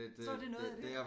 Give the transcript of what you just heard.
Så er det noget af det